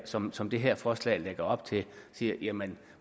som som det her forslag lægger op til siger jamen